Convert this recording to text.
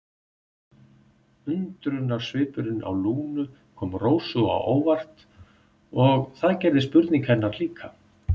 Undrunarsvipurinn á Lúnu kom Rósu á óvart og það gerði spurning hennar líka.